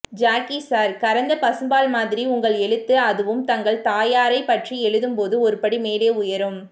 Jackie sir கறந்த பசும்பால் மாதிரி உங்கள் எழுத்து அதுவும் தங்கள் தாயாரைப் பற்றி எழுதும்போது ஒருபடி மேலே உயரும்